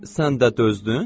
Sən də dözdün?